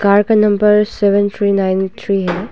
Car का number seven three nine three है।